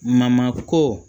ko